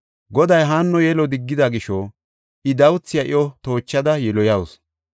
Goday Haanno yelo diggida gisho, I dawuthiya iyo toochada yiloyawusu.